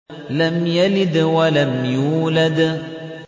لَمْ يَلِدْ وَلَمْ يُولَدْ